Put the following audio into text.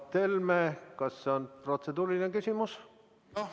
Mart Helme, kas on protseduuriline küsimus?